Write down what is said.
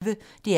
DR P1